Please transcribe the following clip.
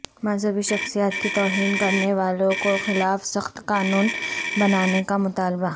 مذہبی شخصیات کی توہین کرنے والوں کو خلاف سخت قانون بنانے کا مطالبہ